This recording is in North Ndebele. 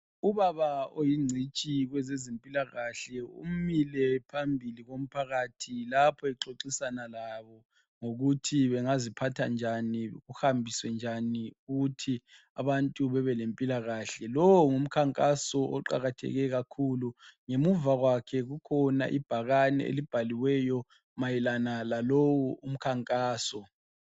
Ubaba oyingcitshi kwezezempilakahle umile phambili komphakathi lapho exoxisana labo ngokuthi bengaziphatha njani kuhambiswe njani ukuthi abantu bebe lempilakahle lowo ngumkhankaso oqakatheke kakhulu ngemuva kwakhe kukhona ibhakane elibhaliweyo mayelana lalowu umkhankaso.